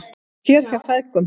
Fjör hjá feðgunum